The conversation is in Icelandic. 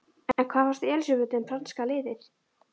En hvað finnst Elísabetu um franska liðið?